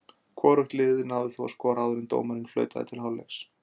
Hvorugt liðið náði þó að skora áður en dómarinn flautaði til hálfleiks.